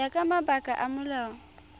ya ka mabaka a molao